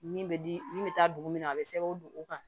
Min bɛ di min bɛ taa dugu min na a bɛ sɛbɛn o don o kan